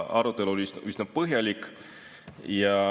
Arutelu oli üsna põhjalik.